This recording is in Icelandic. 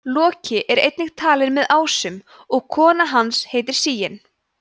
loki er einnig talinn með ásum og kona hans heitir sigyn